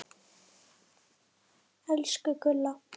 Elsku Gulla.